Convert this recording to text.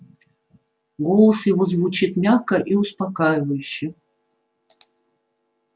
голос его звучит мягко и успокаивающе